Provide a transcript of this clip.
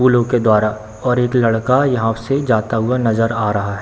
फूलों के द्वारा और एक लड़का यहां से जाता हुआ नज़र आ रहा है।